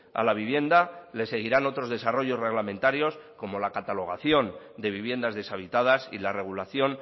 a la vivienda le seguirán otros desarrollos reglamentarios como la catalogación de viviendas deshabitadas y la regulación